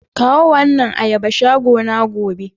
Kawo wa annan ayaba shagona gobe.